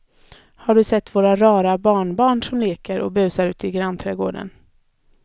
Har du sett våra rara barnbarn som leker och busar ute i grannträdgården!